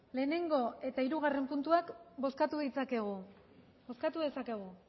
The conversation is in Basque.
lehenengo eta hirugarren puntuak bozkatu ditzakegu bozkatu dezakegu